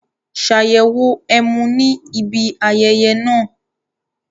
Ṣàyẹ̀wò ẹmu ní ibi ayẹyẹ náà